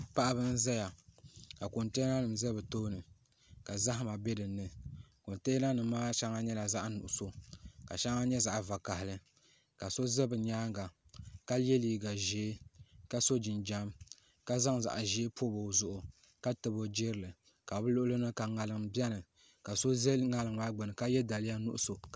Paɣaba n ʒɛya ka kontɛna nim ʒɛ bi tooni ka zahama bɛ dinni kontɛna nim maa shɛŋa nyɛla zaɣ nuɣso ka shɛŋa nyɛ zaɣ vakaɣali ka so ʒɛ bi nyaanga ka yɛ liiga ʒiɛ ka so jinjɛm ka zaŋ zaɣ ʒiɛ pobi o zuɣu ka tabi o jirili ka bi luɣuli ni ka ŋarim biɛni ka so bɛ ŋarim maa gbuni ka yɛ daliya nuɣso